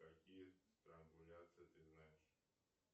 какие странгуляции ты знаешь